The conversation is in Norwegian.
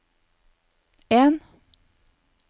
en